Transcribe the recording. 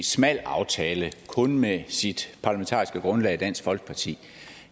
smal aftale kun med sit parlamentariske grundlag dansk folkeparti